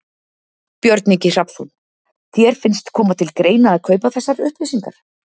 Björn Ingi Hrafnsson: Þér finnst koma til greina að kaupa þessar upplýsingar?